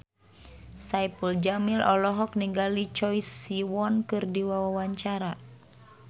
Saipul Jamil olohok ningali Choi Siwon keur diwawancara